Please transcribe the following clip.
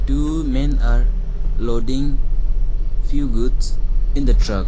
two men are loading few goods in the truck.